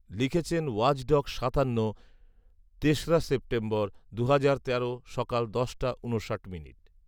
লিখেছেন ওয়াচডগ সাতান্ন , তেসরা সেপ্টেম্বর, দুহাজার তেরো সকাল দশটা ঊনষাট মিনিট